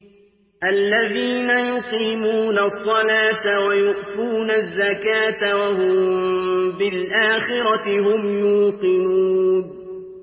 الَّذِينَ يُقِيمُونَ الصَّلَاةَ وَيُؤْتُونَ الزَّكَاةَ وَهُم بِالْآخِرَةِ هُمْ يُوقِنُونَ